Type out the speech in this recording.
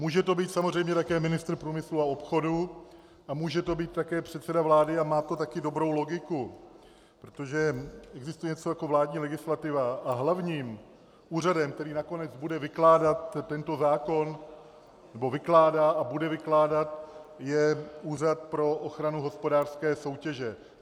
Může to být samozřejmě také ministr průmyslu a obchodu a může to být také předseda vlády a má to také dobrou logiku, protože existuje něco jako vládní legislativa a hlavním úřadem, který nakonec bude vykládat tento zákon nebo vykládá a bude vykládat, je Úřad pro ochranu hospodářské soutěže.